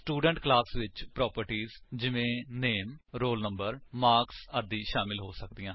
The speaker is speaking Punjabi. ਸਟੂਡੈਂਟ ਕਲਾਸ ਵਿੱਚ ਪ੍ਰੋਪਰਟਿਜ ਜਿਵੇਂ ਨਾਮੇ ਰੋਲ ਨੰਬਰ ਮਾਰਕਸ ਆਦਿ ਸ਼ਾਮਿਲ ਹੋ ਸਕਦੀਆਂ ਹਨ